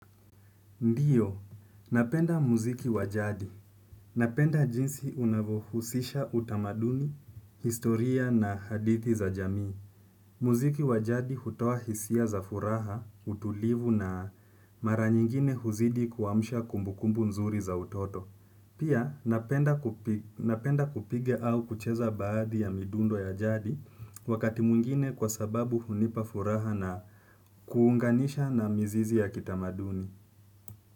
Ndiyo, napenda muziki wajadi. Napenda jinsi unavohusisha utamaduni, historia na hadithi za jamii. Muziki wa jadi hutoa hisia za furaha, utulivu na mara nyingine huzidi kuamsha kumbukumbu nzuri za utoto pia napenda kupiga au kucheza baadhi ya midundo ya jadi wakati mwingine kwasababu hunipa furaha kuunganisha na mizizi ya kitamaduni.